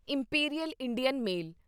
imperial Indian male